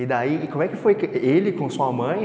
E como é que foi? ele com sua mãe?